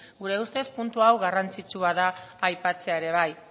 gure ustez puntu hau garrantzitsua da aipatzea ere bai